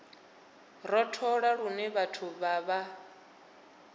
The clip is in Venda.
rothola lune vhathu vha vha